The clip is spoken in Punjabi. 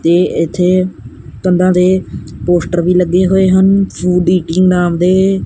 ਤੇ ਇੱਥੇ ਕੰਧਾਂ ਤੇ ਪੋਸਟਰ ਵੀ ਲੱਗੇ ਹੋਏ ਹਨ ਨਾਮ ਦੇ।